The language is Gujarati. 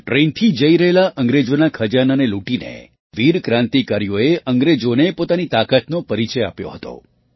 ત્યાં ટ્રેનથી જઈ રહેલા અંગ્રેજોના ખજાનાને લૂટીને વીર ક્રાંતિકારીઓએ અંગ્રેજોને પોતાની તાકાતનો પરિચય આપ્યો હતો